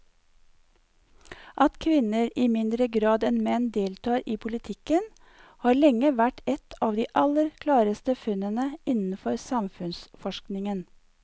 At kvinner i mindre grad enn menn deltar i politikken har lenge vært et av de aller klareste funnene innenfor samfunnsforskningen.